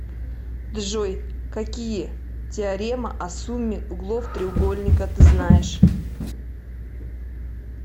джой какие теорема о сумме углов треугольника ты знаешь